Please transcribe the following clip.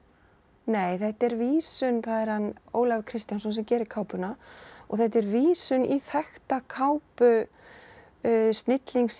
nei þetta er vísun það er hann Ólafur Kristjánsson sem gerir kápuna og þetta er vísun í þekkta kápu snillingsins